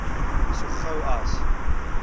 so gou as